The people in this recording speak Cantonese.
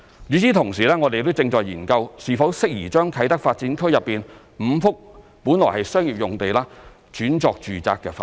與此同時，我們正研究是否適宜將啟德發展區內5幅本來的商業用地轉作住宅發展。